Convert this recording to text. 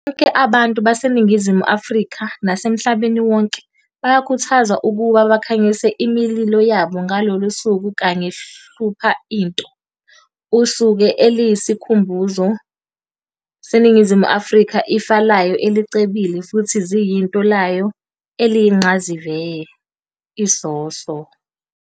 Bonke abantu baseNingizimu Afrika nasemhlabeni wonke bayakhuthazwa ukuba bakhanyise imililo yabo ngalolu suku kanye hlupha into. Usuku eliyisikhumbuzo seNingizimu Afrika ifa layo elicebile futhi ziyinto layo eliyingqayizivele, izoso.